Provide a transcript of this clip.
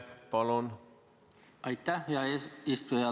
Aitäh, hea eesistuja!